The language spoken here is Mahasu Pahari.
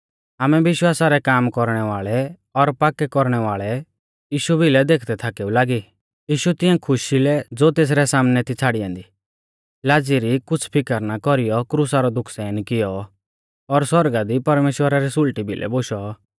आमै विश्वासा रै काम कौरणै वाल़ै और पाक्कै कौरणै वाल़ै यीशु भिलै देखदै थाकेऊ लागी यीशु तिंऐ खुशी लै ज़ो तेसरै सामनै थी छ़ाड़ी ऐन्दी लाज़ी री कुछ़ फिकर ना कौरीयौ क्रुसा रौ दुःख सहन कियौ और सौरगा दी परमेश्‍वरा री सुल़टी भिलै बोशौ